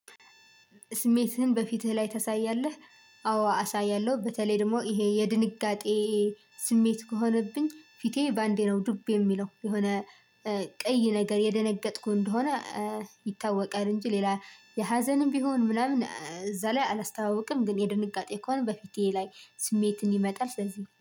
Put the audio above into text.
ስሜትህን በፊትህ ላይ ታሳያለህ? ስሜትህን በፊትህ ላይ ታሳያለህ? ስሜት ከሆነብኝ ፊቴ በአንዴ ነው ዱብ የሚለው የሆነ ቀይ ነገር የደነገጥኩ እንደሆነ ይታወቃል። እንጂ ሌላ የሀዘንም ቢሆን ምናምን እዛ ላይ አላስተዋውቅም ግን የድንጋጤ ከሆነ በፊቴ ላይ ስሜት እንዲመጣ ስለዚህ